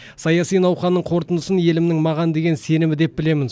саяси науқанның қорытындысын елімнің маған деген сенімі деп білемін